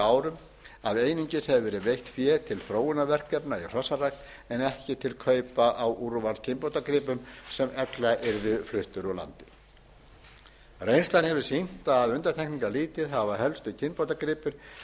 árum að einungis hefur verið veitt fé til þróunarverkefna í hrossarækt en ekki til kaupa á úrvalskynbótagripum sem ella yrðu fluttir úr landi reynslan hefur sýnt að undantekningarlítið hafa helstu kynbótagripir